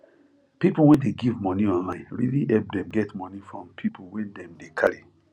people wey dey give money online really help them get money from people wey dem dey carry